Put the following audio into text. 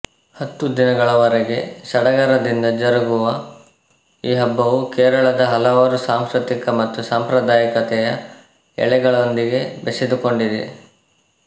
ಹತ್ತು ದಿನಗಳವರೆಗೆ ಸಡಗರದಿಂದ ಜರುಗುವ ಈ ಹಬ್ಬವು ಕೇರಳದ ಹಲವಾರು ಸಾಂಸ್ಕೃತಿಕ ಮತ್ತು ಸಾಂಪ್ರದಾಯಿಕತೆಯ ಎಳೆಗಳೊಂದಿಗೆ ಬೆಸೆದುಕೊಂಡಿದೆ